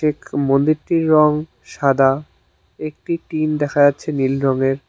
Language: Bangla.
মন্দিরটির রং সাদা একটি টিন দেখা যাচ্ছে নীল রঙের।